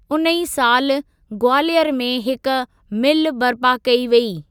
उन ई सालु ग्वालियर में हिकु मिल बर्पा कई वेई।